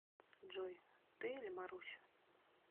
джой ты или маруся